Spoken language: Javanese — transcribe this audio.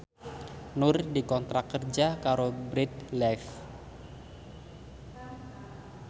Nur dikontrak kerja karo Bread Life